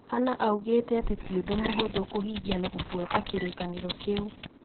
hannah augite atĩ ti ũndũ mũhũthũ kũhingia na kũfuata kĩrĩkanĩro kĩu.